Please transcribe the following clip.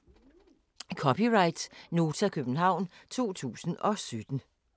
(c) Nota, København 2017